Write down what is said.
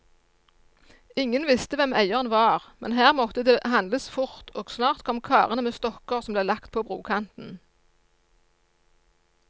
Ingen visste hvem eieren var, men her måtte det handles fort, og snart kom karene med stokker som ble lagt på brokanten.